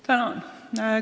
Tänan!